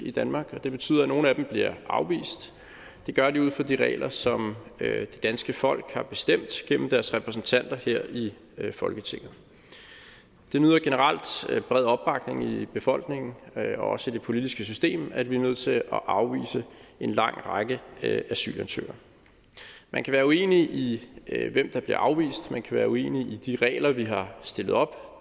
i danmark og det betyder at nogle af dem bliver afvist det gør de ud fra de regler som det danske folk har bestemt gennem deres repræsentanter her i folketinget det nyder generelt bred opbakning i befolkningen og også i det politiske system at vi er nødt til at afvise en lang række asylansøgere man kan være uenig i hvem der bliver afvist man kan være uenig i de regler vi har stillet op